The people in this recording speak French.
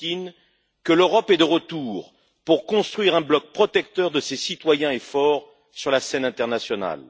Poutine que l'Europe est de retour pour construire un bloc protecteur de ses citoyens et fort sur la scène internationale.